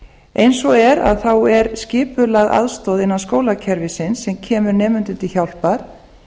eins og er er skipulögð aðstoð innan skólakerfisins sem kemur nemendum til hjálpar